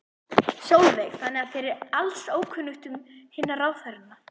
Sólveig: Þannig að þér er alls ókunnugt um hinna ráðherranna?